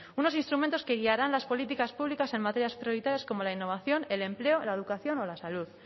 unos instrumentos que guiarán las políticas públicas en materias prioritarias como la innovación el empleo la educación o la salud